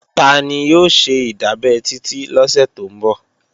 Tani ó ṣe ìdábẹ́ Titi lọ́sẹ̀ tó ń bọ̀?